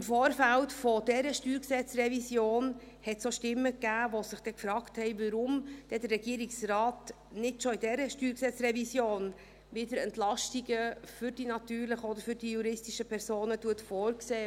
Im Vorfeld dieser StG-Revision gab es auch Stimmen, die sich gefragt haben, warum denn der Regierungsrat nicht bereits in dieser StG-Revision wieder Entlastungen für die natürlichen oder für die juristischen Personen vorsieht.